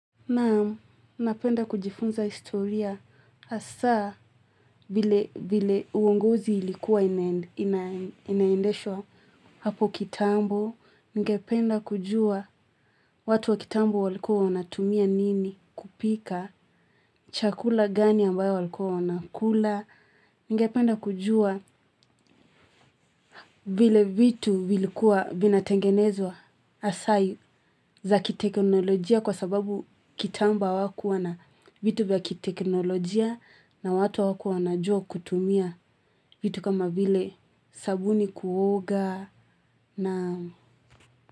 Naam, napenda kujifunza historia hasa vile uongozi ilikuwa inaendeshwa hapo kitambo. Ningependa kujua watu wa kitambo walikuwa wanatumia nini kupika chakula gani ambayo walikuwa wanakula. Ningependa kujua vile vitu vilikuwa vinatengenezwa hasa za kiteknolojia kwa sababu kitambo hawakuwa na vitu vya kiteknolojia. Na watu hawakuwa wanajua kutumia vitu kama vile sabuni kuoga na.